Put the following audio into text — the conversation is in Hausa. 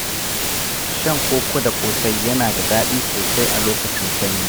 Shan koko da ƙosai yana da daɗi sosai a lokacin sanyi.